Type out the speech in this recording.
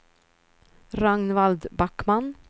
Ragnvald Backman